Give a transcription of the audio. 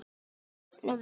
Nokkurn veginn.